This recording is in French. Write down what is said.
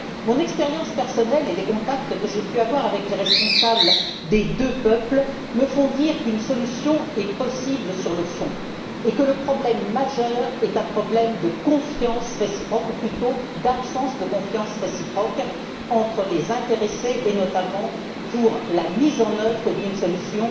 Mon expérience personnelle et les contacts que j'ai pu avoir avec les responsables des deux peuples me font dire qu'une solution est possible sur le fond et que le problème majeur est un problème de confiance réciproque ou plutôt d'absence de confiance réciproque entre les intéressés, notamment pour la mise en œuvre d'une solution